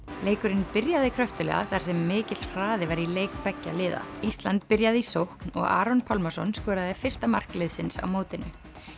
leikurinn byrjaði kröftuglega þar sem mikill hraði var í leik beggja liða ísland byrjaði í sókn og Aron Pálmarsson skoraði fyrsta mark liðsins á mótinu